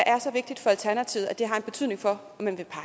er så vigtigt for alternativet at det har betydning for